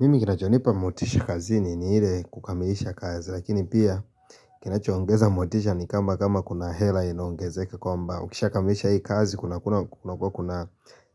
Mimi kinacho nipa motisha kazi ni ile kukamilisha kazi lakini pia kinachoongeza motisha ni kana kama kuna hela inaongezeka kwamba Ukisha kamilisha hii kazi kuna kuna kuna kuna